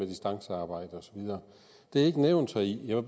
distancearbejde og så videre det er ikke nævnt heri jeg